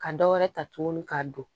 Ka dɔ wɛrɛ ta tuguni ka don